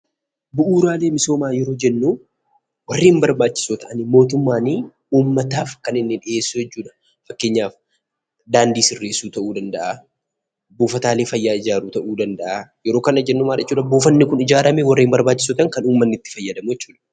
Bu'uuraalee misoomaa yeroo jennuu warreen barbaachisoo ta'anii mootummaanii uummataaf kan inni dhiyeessuu jechuudha. Fakkeenyaf daandii sirreessu ta'uu danda'aa, buufataalee fayyaa ijaaruu ta'uu danda'aa yeroo kana jennu maal jechuudhaa buufanni kun ijaaramee warreen barbaachisoo ta'an kan uummanni itti fayyadamu jechuudha.